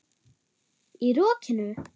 Í rokinu?